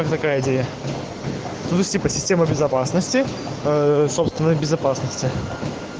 кто такая типа система безопасности собственной безопасности